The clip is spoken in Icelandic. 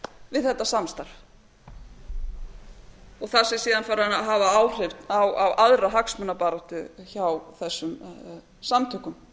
við þetta samstarf og þar sem þeir fara síðan að hafa áhrif á aðra hagsmunabaráttu hjá þessum samtökum